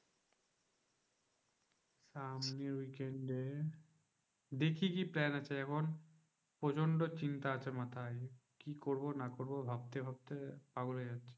সামনের weekend এ দেখি কি plan আছে এখন? প্রচন্ড চিন্তা আছে মাথায়। কি করবো না করবো? ভাবতে ভাবতে পাগল হয়ে যাচ্ছি।